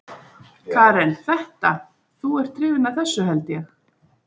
Karen: Þetta, þú ert hrifinn af þessu held ég?